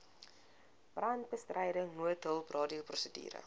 brandbestryding noodhulp radioprosedure